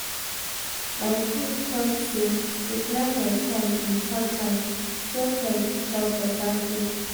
my coach talk say to plan your time important just like to chop better food.